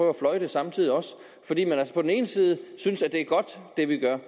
at fløjte samtidig også fordi man altså på den ene side synes at det vi gør